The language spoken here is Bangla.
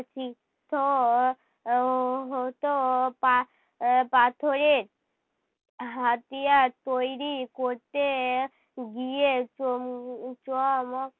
শিখতো আহ হতো পা~ পাথরের হাতিয়ার তৈরী করতে গিয়ে চম~ চ ম